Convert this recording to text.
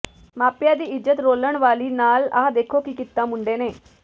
ਮਾਪਿਆਂ ਦੀ ਇਜ਼ਤ ਰੋਲਣ ਵਾਲੀ ਨਾਲ ਆਹ ਦੇਖੋ ਕੀ ਕੀਤਾ ਮੁੰਡੇ ਨੇ